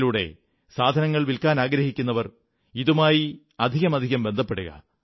തങ്ങളിലൂടെ സാധനങ്ങൾ വില്ക്കാനാഗ്രഹിക്കുന്നവർ ഇതുമായി അധികാധികം ബന്ധപ്പെടുക